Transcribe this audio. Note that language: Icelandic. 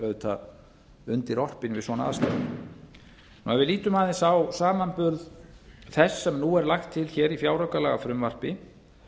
auðvitað undirorpin við svona aðstæður ef við lítum aðeins á samanburð þess nú er lagt til hér í fjáraukalagafrumvarpi